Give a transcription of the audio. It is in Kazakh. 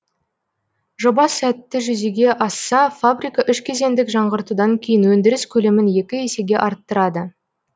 жоба сәтті жүзеге асса фабрика үш кезеңдік жаңғыртудан кейін өндіріс көлемін екі есеге арттырады